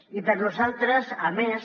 i per nosaltres a més